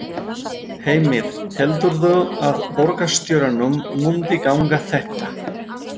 Heimir: Heldurðu að borgarstjóranum muni ganga þetta?